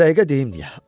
Bu dəqiqə deyim niyə.